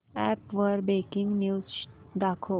app वर breaking news दाखव